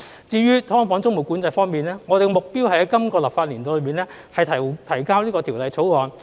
至於"劏房"租務管制方面，我們的目標是在本立法年度內提交條例草案。